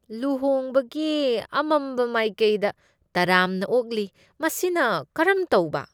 ꯂꯨꯍꯣꯡꯕꯒꯤ ꯑꯃꯝꯕ ꯃꯥꯏꯀꯩꯗ ꯇꯔꯥꯝꯅ ꯑꯣꯛꯂꯤ ꯃꯁꯤꯅ ꯀꯔꯝ ꯇꯧꯕ ꯫